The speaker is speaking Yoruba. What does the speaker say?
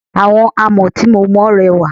Àwọn àmọ́ tí mo mọ rẹwà.